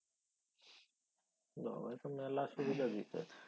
ও এত মেলা সুবিধা দিছে।